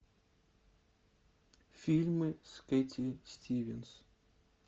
фильмы с кэти стивенс